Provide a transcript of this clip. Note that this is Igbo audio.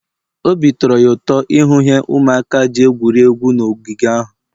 obi tọrọ ya ụtọ ịhụ ihe ụmụaka ji egwuri egwu n'ogige ahụ